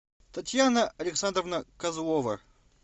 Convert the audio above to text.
татьяна александровна козлова